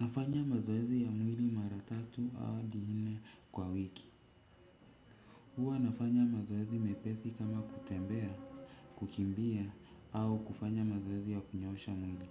Nafanya mazoezi ya mwili mara tatu au hadi nne kwa wiki huwa nafanya mazoezi mepesi kama kutembea kukimbia au kufanya mazoezi ya kunyoosha mwili